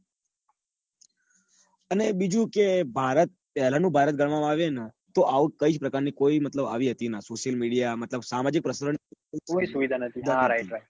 અને બીજું કે ભારત પેલા નું ભારત ઘનવા માં આવે તો આવું કોઈજ પ્રકાર નું મતલબ કોઈ સુવિધા social media મતલબ સામાજિક પ્રશ્નોની કોઈ સુવિધા નતી